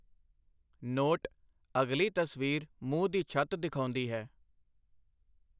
Note ਅਗਲੀ ਤਸਵੀਰ ਮੂੰਹ ਦੀ ਛੱਤ ਦਿਖਾਉਂਦੀ ਹੈ।